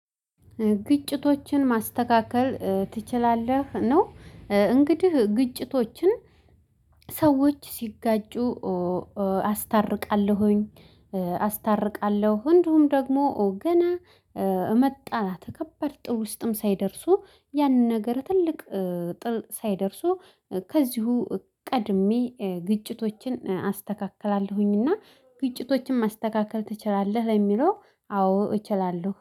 ግጭቶችን ማስተካከል ትችላለህ? ነው እንግዲህ ግጭቶችን ሰዎች ሲጋጩ መጣላትርቃለሁኝ አስታርቃለሁ። እንዲሁም ደግሞ ገና መጣላት ከባድ ጠብ ውስጥም ሳይደርሱ ያንን ነገር ትልቅ ትልቅ ጠብ ሳይደርሱ ከዚሁ ቀድሜ ግጭቶችን አስተካክላለሁኝና። ግጭቶችን ማስተካከል ትችላለህ ለሚለው አዎ እችላለሁ